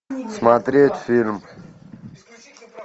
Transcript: смотреть фильм